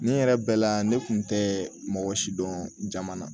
Nin yɛrɛ bɛɛ la ne kun tɛ mɔgɔ si dɔn jama na